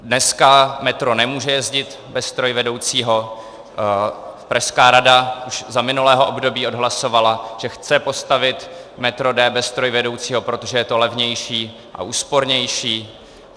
Dneska metro nemůže jezdit bez strojvedoucího, pražská rada už za minulého období odhlasovala, že chce postavit metro D bez strojvedoucího, protože je to levnější a úspornější.